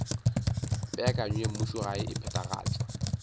peakanyo ya mmušogae e phethagatšwa